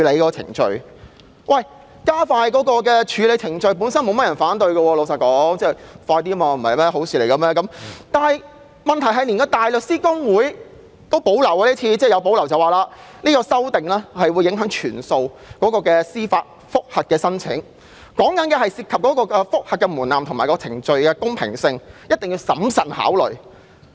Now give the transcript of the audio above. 老實說，加快處理程序本身並沒有人會反對，因為這是好事，但問題是今次連香港大律師公會也表示有所保留，指有關修訂會影響所有司法覆核申請，涉及覆核門檻和程序的公平性，必須審慎考慮。